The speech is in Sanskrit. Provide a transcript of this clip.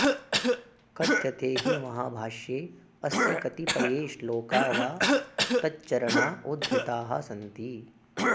कथ्यते हि महाभाष्ये अस्य कतिपये श्लोका वा तच्चरणा उद्धृताः सन्ति